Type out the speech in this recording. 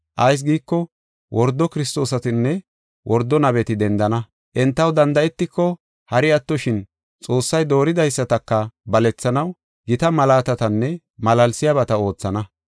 Ayis giiko, wordo Kiristoosatinne wordo nabeti dendana. Entaw danda7etiko, hari attoshin Xoossay dooridaysataka balethanaw gita malaatatanne malaalsiyabata oothana.